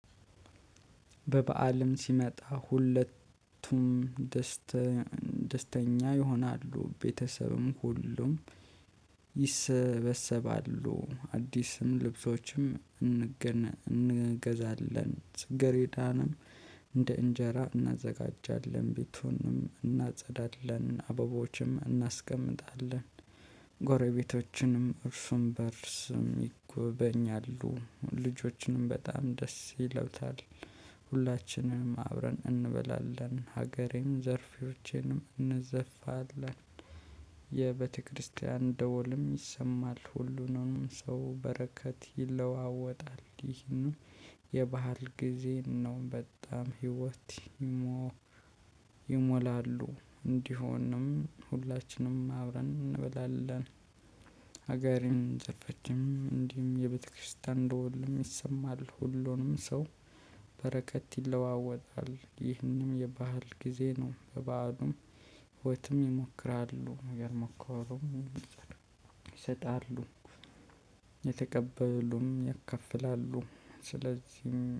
በበአልም ሲመጣ ሁለቱም ደስተ ደስተኛ ይሆናሉ ቤተሰብም ሁሉም ይሰበሰባሉ አዲስም ልብሶችም እንገን እንገዛለን ፅገሬዳንም እንደ እንጀራ እናዘጋጃለን ቤቱንም እናጸዳለን አበቦችም እናስቀምጣለን ጎረቤቶችንም እርሱም በእርሱም ይጎበኛሉ ልጆችንም በጣም ደስ ይለውታል ሁላችንም አብረን እንበላለን ሀገራዊ ዘፈኖችንም እንዘፍናለን የቤተክርስቲያን ደወልም ይሰማል ሁሉንም ሰው በረከት ይለዋወጣል ይህም የበአል ጊዜ ነው በጣም ህይወት ይሞ ይሞላሉ እንዲሆንም ሁላችንም አብረን እንበላለን ሀገርን ጨፈችም እንዲሁም የቤተክርስቲያን ደወልም ይሰማል። ሁሉንም ሰው በረከት ይለዋወጣል። ይህንም የባህል ጊዜ ነው በባዕሉምም ህይወትም ይሞክራሉ። ያልሞከሩ ይሰጣሉ። የተቀበሉም ያካፍላሉ። ስለዚህ